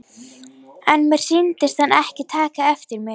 En mér sýndist hann ekki taka eftir mér.